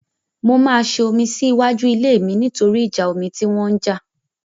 Mo máa ṣe omi sí iwájú ilé mi nítorí ìjà omi tí wọ́n jà.